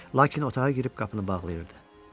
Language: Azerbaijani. Lakin otağa girib qapını bağlayırdı.